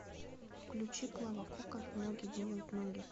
включи клава кока ноги делают ноги